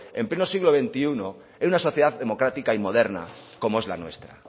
en pleno siglo veintiuno en una sociedad democrática y moderna como es la nuestra